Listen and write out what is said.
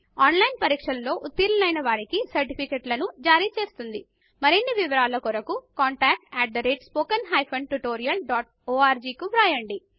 on line test లో ఉత్తీర్ణులు అయిన వారికి సర్టిఫికెట్ల ను జరిచేస్తుంది మరిన్ని వివరాల కొరకు contactspoken tutorialorg ను కు వ్రాయండి